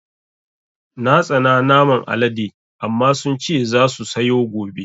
Na tsana naman Alaɗe amma sun ce za su sayo gobe